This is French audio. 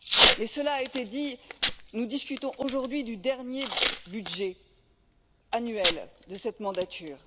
Mais cela a été dit, nous discutons aujourd'hui du dernier budget annuel de cette mandature.